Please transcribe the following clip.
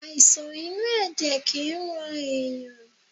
Àìsàn inú ẹ̀jẹ̀ kìí rán ẹ̀yàn.